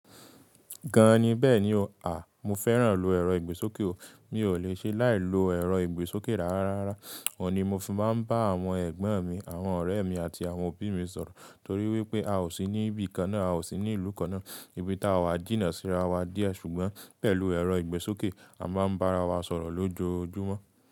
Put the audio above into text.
Gán an ni bẹ́ẹ̀ni o. À, mo fẹ́ràn lo ẹ̀rọ ìgbésókè o. Mi ò le ṣe láì lo ẹ̀rọ ìgbésókè rárá. Ọ̀ní mo fi máa ń bá àwọn ẹ̀gbọ́n mi, àwọn ọ̀rẹ́ mi àti àwọn òbí mi sọ̀rọ̀ torí wípé a ò sí ní ibi kan náà, a ò sí ní ìlú kan náà. Ibi táa wa jìnnà síra wa díẹ̀ ṣùgbọ́n pẹ̀lú ẹ̀rọ ìgbésókè a máa ń bá ara wa sọ̀rọ̀ lójoojúmọ́.